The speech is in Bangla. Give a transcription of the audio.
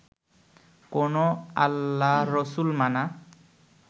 কোনও আল্লাহরসুল মানা